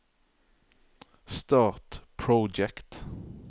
start Project